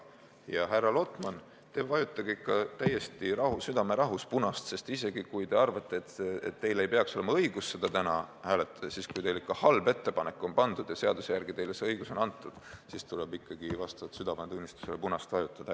Ja, härra Lotman, te vajutage täiesti südamerahus punast nuppu, sest isegi kui te arvate, et teil ei peaks olema õigust selle vastu täna hääletada, siis olukorras, kus teie ette on pandud halb ettepanek ja seaduse järgi on teile vastav õigus antud, tuleb vastavalt südametunnistusele ikkagi punast vajutada.